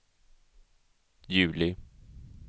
juli